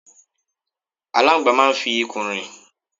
Aláńgbàá máa ń fi ikùn rìn.